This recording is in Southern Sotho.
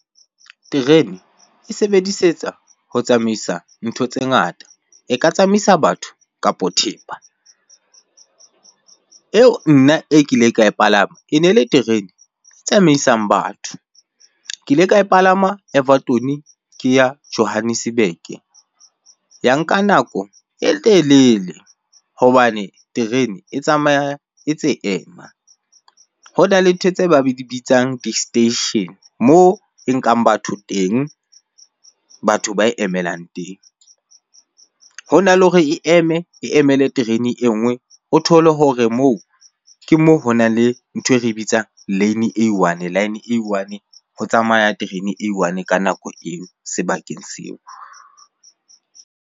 Terene e sebedisetswa ho tsamaisa ntho tse ngata, e ka tsamaisa batho kapo thepa. Eo nna e kileng ka e palama, e ne le terene tsamaisang batho, ke ile ka e palama Everton ke ya Johannesburg. Ya nka nako e telele hobane terene e tsamaya e tse ema, ho na le ntho tse ba be di bitsang di-station. Moo e nkang batho teng, batho ba e emelang teng. Ho na le hore e eme e emele terene e nngwe. O thole hore moo ke moo ho nang le ntho e re bitsa line e one line e one ho tsamaya terene e one ka nako eo sebakeng seo.